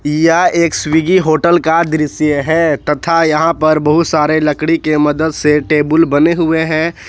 यह एक Swiggy hotel का दृश्य है तथा यहां पर बहुत सारे लकड़ी के मदद दे टेबुल बने हुए हैं।